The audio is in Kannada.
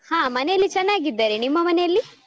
ಹ ಮನೇಲಿ ಚನ್ನಾಗಿದ್ದರೆ ನಿಮ್ಮ ಮನೇಲಿ?